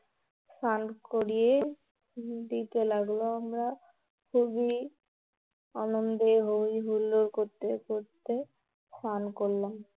স্নান করিয়ে দিতে লাগলো. আমরা খুবই আনন্দে হৈ হুল্লোড় করতে করতে স্নান করলাম